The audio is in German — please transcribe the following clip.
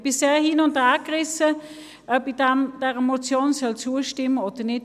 Ich bin sehr hin- und hergerissen, ob ich dieser Motion zustimmen soll oder nicht.